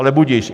Ale budiž.